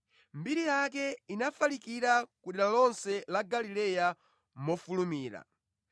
Mbiri yake inafalikira kudera lonse la Galileya mofulumira.